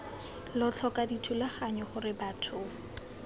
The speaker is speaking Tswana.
lo tlhoka dithulaganyo gore batho